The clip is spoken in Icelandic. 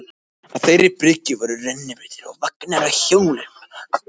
Á þeirri bryggju voru rennibrautir og vagnar á hjólum.